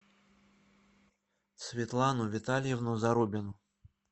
светлану витальевну зарубину